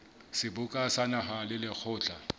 seboka sa naha le lekgotla